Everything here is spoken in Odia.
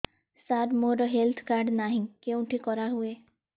ସାର ମୋର ହେଲ୍ଥ କାର୍ଡ ନାହିଁ କେଉଁଠି କରା ହୁଏ